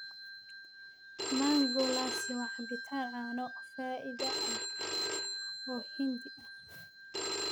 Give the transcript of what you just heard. Mango lassi waa cabbitaan caano fadhi ah oo Hindi ah.